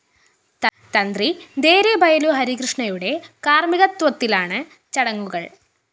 തന്ത്രി ദേരെബയലു ഹരികൃഷ്ണയുടെ കാര്‍മികത്വത്തിലാണ് ചടങ്ങുകള്‍